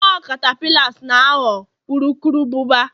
ọ catapillars na ghọọ urukurubụba